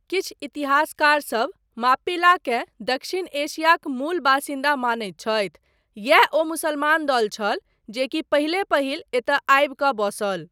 किछु इतिहासकारसब माप्पिलाकेँ दक्षिण एशियाक मूल बासिन्दा मानैत छथि, यैह ओ मुसमान दल छल जेकि पहिले पहिल एतय आबि कऽ बसल।